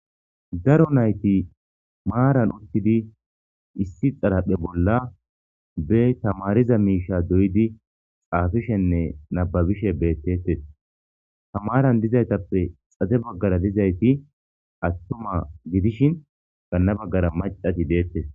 Daro nayti maaran uttidi issi xaraphe bolla be tamariza miisha doyidi xaafishenne nababishe beettetes. Tamaran dizaytappe xade baggara dizayti attuma gidishin ganna baggara macati deettes.